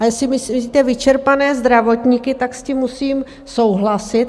A jestli myslíte vyčerpané zdravotníky, tak s tím musím souhlasit.